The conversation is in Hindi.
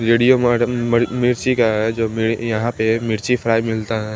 रेडियम आर्ट अं म मिर्ची का है जो में यहाँ पे मिर्ची फ्ड़ाई मिलता हैं।